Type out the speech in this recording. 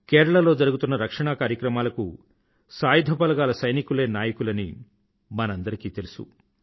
కేరళలో జరుగుతున్న రక్షణా కార్యక్రమాలకు సాయుధ బలగాల సైనికులే నాయకులని మనందరికీ తెలుసు